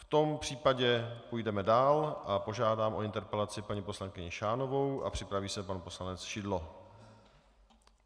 V tom případě půjdeme dál a požádám o interpelaci paní poslankyni Šánovou, a připraví se pan poslanec Šidlo.